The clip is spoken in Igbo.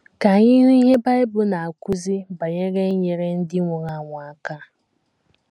Ka anyị hụ ihe Bible na - akụzi banyere inyere ndị nwụrụ anwụ aka.